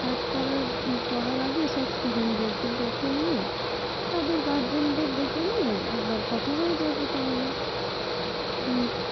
কাজ করার, করার আগে তোর student দেরকে ডেকে নিয়ে তাদের guardian দের ডেকে নিয়ে একবার কথা হয়ে যাবে তাহলে